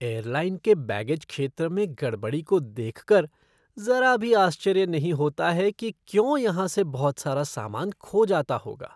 Airline के baggage क्षेत्र में गड़बड़ी को देख कर ज़रा भी आश्चर्य नहीं होता है कि क्यों यहाँ से बहुत सारा सामान खो जाता होगा।